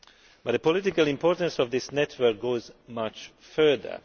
But the political importance of this network goes much further.